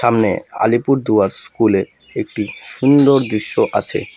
সামনে আলিপুরদুয়ার স্কুলে একটি সুন্দর দৃশ্য আছে।